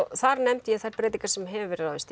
þar nefndi ég þær breytingar sem hefur verið ráðist í